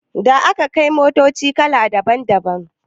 Da akai motoci kala daban daban